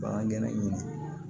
Bagangɛn in